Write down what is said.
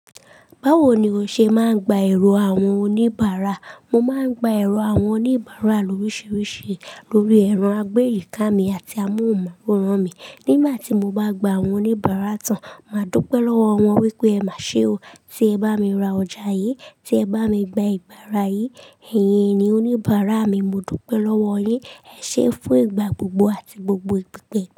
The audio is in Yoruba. Báwo ni o ṣe máa ń gba èrò àwọn oníbàárà? Mo máa ń gba èrò àwọn oníbàárà loríṣiríṣi lórí ẹran, àgbẹ́, ìka mi àti amóhùnmáwòrán mi. Nígbà tí mo bá gba àwọn oníbàárà tán, màá dúpẹ́ lọ́wọ́ wọn wípé "Ẹ má ṣe o, tí ẹ bá mi ra ọjà yí, tí ẹ bá mi gba ìbára yí, ẹ̀yin ni oníbàárà mi, mo dúpẹ́ lọ́wọ́ yín, ẹ ṣé fún ìgbà gbogbo àti gbogbo ìpipẹ̀."